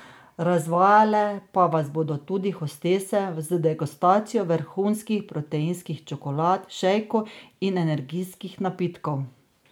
Razvajale pa vas bodo tudi hostese z degustacijo vrhunskih proteinskih čokolad, šejkov in energijskih napitkov!